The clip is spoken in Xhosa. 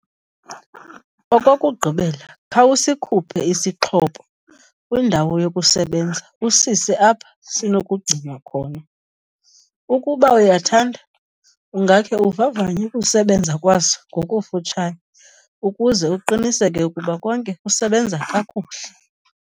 Okokugqibela, khawusikhuphe isixhobo kwindawo yokusebenza usise apha sinokugcinwa khona. Ukuba uyathanda ungakhe uvavanye ukusebenza kwaso ngokufutshane ukuze uqiniseke ukuba konke kusebenza kakuhle.